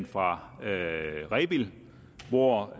fra rebild hvor